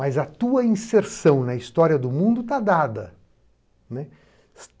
Mas a tua inserção na história do mundo está dada, né.